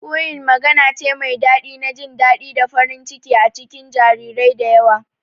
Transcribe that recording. Cooing magana ce mai daɗi na jin daɗi da farin ciki a cikin jarirai da yawa